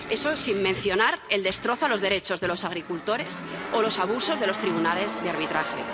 Eso sin mencionar el destrozo a los derechos de los agricultores o los abusos de los tribunales de arbitraje.